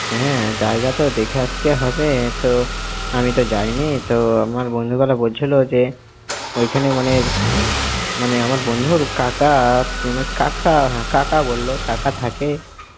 হ্যাঁ জায়গা তো দেখে আস্তে হবে তো, আমি তো যাইনি তো, আমার বন্ধু গুলো বলছিল যে, ওইখানে মানে~, মানে আমার বন্ধুর কাকা~, মানে কাকা~ হ্যাঁ কাকা বলোও~ কাকা থাকে।